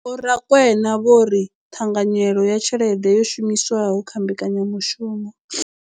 Vho Rakwena vho ri ṱhanganyelo ya tshelede yo shumiswaho kha mbekanyamushumo.